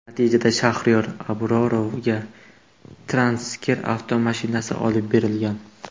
Natijada Shaxriyor Abrorovga Tracker avtomashinasi olib berilgan.